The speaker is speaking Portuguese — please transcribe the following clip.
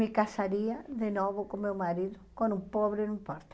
Me casaria de novo com meu marido, com um pobre, não importa.